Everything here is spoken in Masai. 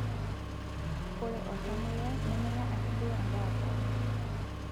ore oltamuoyiai nemenya ake duo endaa poki